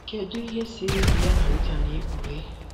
Kedu ihe siri ike ya na Rita na-ekpughe?